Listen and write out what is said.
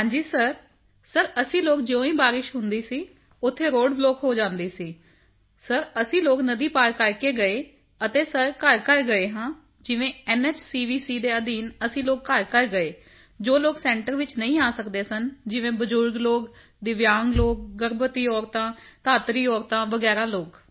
ਹਾਂਜੀ sir sir ਅਸੀਂ ਲੋਕ ਜਿਉਂ ਹੀ ਬਾਰਿਸ਼ ਹੁੰਦੀ ਸੀ ਉੱਥੇ ਰੋਡ ਬਲੌਕ ਹੋ ਜਾਂਦੀ ਸੀ ਸਿਰ ਅਸੀਂ ਲੋਕ ਨਦੀ ਪਾਰ ਕਰਕੇ ਗਏ ਅਤੇ ਸਿਰ ਘਰਘਰ ਗਏ ਹਾਂ ਜਿਵੇਂ ਐਨਐਚਸੀਵੀਸੀ ਦੇ ਅਧੀਨ ਅਸੀਂ ਲੋਕ ਘਰਘਰ ਗਏ ਹਾਂ ਜੋ ਲੋਕ ਸੈਂਟਰ ਵਿੱਚ ਨਹੀਂ ਆ ਸਕਦੇ ਸਨ ਜਿਵੇਂ ਬਜ਼ੁਰਗ ਲੋਕ ਅਤੇ ਦਿੱਵਿਯਾਂਗ ਲੋਕ ਗਰਭਵਤੀ ਔਰਤਾਂ ਧਾਤਰੀ ਔਰਤਾਂ ਵਗੈਰਾ ਲੋਕ